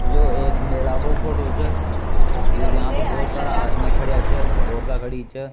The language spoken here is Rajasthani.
यो एक मेला को फोटो छ यहां पे बहुत सारा आदमी खड़ेया छ औरता खड़ी छ।